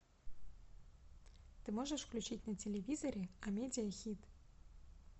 ты можешь включить на телевизоре амедиа хит